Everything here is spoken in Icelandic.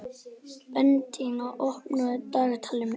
Bentína, opnaðu dagatalið mitt.